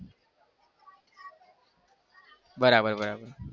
બરાબર બરાબર